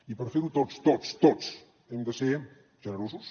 i per fer ho tots tots tots hem de ser generosos